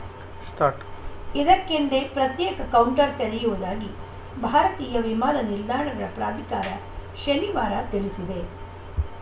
start ಇಕ್ಕೆಂದೇ ಪ್ರತ್ಯೇಕ counter ತೆರೆಯುವುದಾಗಿ ಭಾರತೀಯ ವಿಮಾನ ನಿಲ್ದಾಣಗಳ ಪ್ರಾಧಿಕಾರ ಶನಿವಾರ ತಿಳಿಸಿದೆ